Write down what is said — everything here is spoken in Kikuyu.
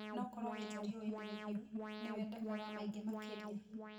no koro wĩ nja riũanĩ rĩhiũ, nĩ wendekaga maingĩ makĩria.